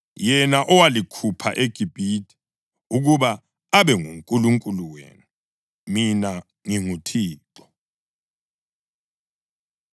yena owalikhupha eGibhithe ukuba abe nguNkulunkulu wenu. Mina nginguThixo.”